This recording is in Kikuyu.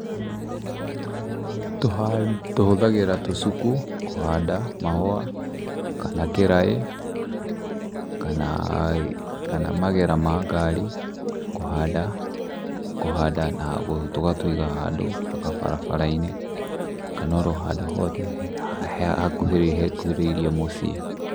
Tũhũthagĩra tũcuku kũhanda mahũa, kana kĩraĩ, kana, kana magĩra ma ngari kũhanda na tũgatũiga handũ gabarabara-inĩ, kana o ro handũ hothe hakuhĩrĩirie mũciĩ.